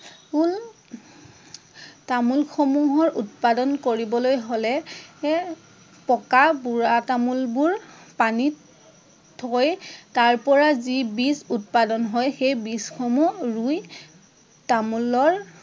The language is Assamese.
তামোল সমূহৰ উৎপাদন কৰিবলৈ হলে পকা বুঢ়া তামোল বোৰ পানীত থৈ তাৰ পৰা যি বীজ উৎপাদন হয়, সেই বীজ সমূহ ৰুই তামোলৰ